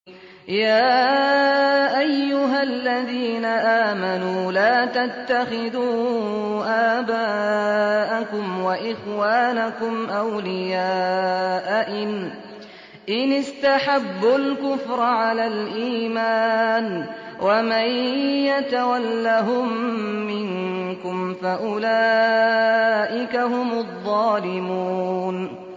يَا أَيُّهَا الَّذِينَ آمَنُوا لَا تَتَّخِذُوا آبَاءَكُمْ وَإِخْوَانَكُمْ أَوْلِيَاءَ إِنِ اسْتَحَبُّوا الْكُفْرَ عَلَى الْإِيمَانِ ۚ وَمَن يَتَوَلَّهُم مِّنكُمْ فَأُولَٰئِكَ هُمُ الظَّالِمُونَ